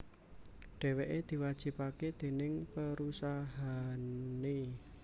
Dhèwèké diwajibaké déning perusahané